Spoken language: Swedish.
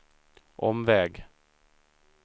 omväg